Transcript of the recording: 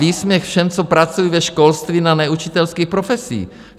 Výsměch všem, co pracují ve školství na neučitelských profesích.